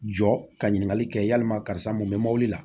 Jɔ ka ɲininkali kɛ yalima karisa mun bɛ mobili la